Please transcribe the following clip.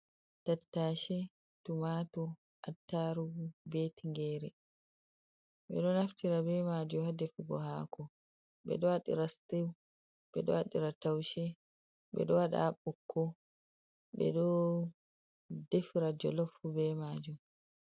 Tattashe tu matur attarugu be tingere, ɓeɗo naftira be majum hadefugo hako, ɓeɗo waɗira sitiw, ɓeɗo waɗira taushe, ɓeɗo waɗa ɓukko, ɓeɗo defira jolof fu be majum.